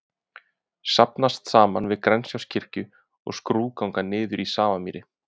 Safnast saman við Grensáskirkju og skrúðganga niður í Safamýri.